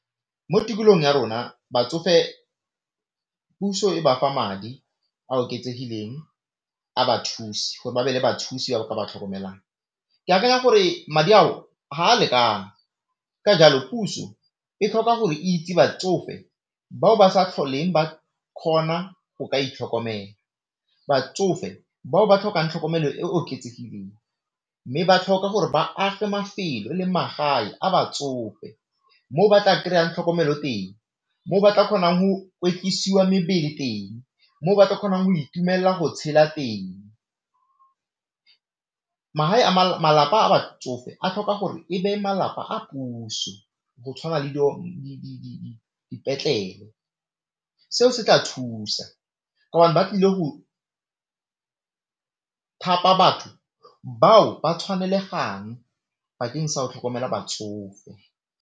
Mo tikologong ya rona batsofe puso e ba fa madi a oketsegileng a bathusi gore ba be le bathusi ba ka ba tlhokomelang. Ke akanya gore madi ao ga a lekane, ka jalo puso e tlhoka go itse batsofe bao ba sa tlhole ba kgona go ka itlhokomela, batsofe bao ba tlhokang tlhokomelo e e oketsegileng, mme ba tlhoka gore ba age mafelo le magae a batsofe moo ba tla kry-ang tlhokomelo teng, mo ba tla kgonang go mebele teng, mo ba tlo kgonang go itumella go tshela teng, magae a malapa a batsofe a tlhoka gore e be malapa a puso, go tshwana le dipetlele. Seo se tla thusa ka o bane batlile go thapa batho bao ba tshwanelegang bakeng sa go tlhokomela batsofe.